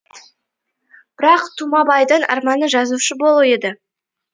бірақ тумабайдың арманы жазушы болу еді